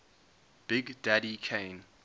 big daddy kane